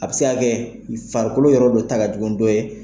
A bɛ se k'a kɛ farikolo yɔrɔ dɔ ta ka jugu ni dɔ ye.